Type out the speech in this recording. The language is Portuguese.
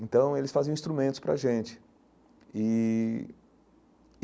Então eles faziam instrumentos para a gente e.